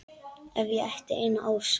Ef ég ætti eina ósk.